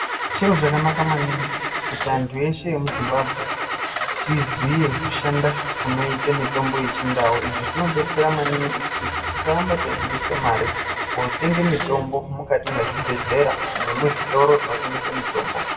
Chiro chakanaka maningi kuti antu eshe emuZimbabwe tiziye kushanda kunoita mitombo yechindau izvi zvinodetsera maningi kuti tisaramba taibudisa mare yokotenga mitombo mukati mwezvibhehlera nemuzvitoro zvinotengesa mitombo.